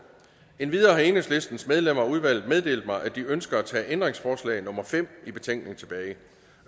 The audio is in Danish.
endvidere har enhedslistens medlemmer af udvalget meddelt mig at de ønsker at tage ændringsforslag nummer fem i betænkningen tilbage